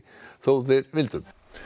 þótt þeir vildu